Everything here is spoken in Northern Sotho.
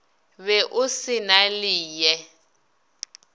be o se na leye